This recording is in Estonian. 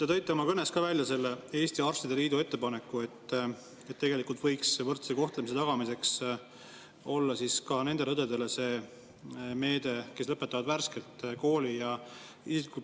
Te tõite oma kõnes välja Eesti Arstide Liidu ettepaneku, et võrdse kohtlemise tagamiseks võiks olla selline meede ka nendele õdedele, kes on värskelt kooli lõpetanud.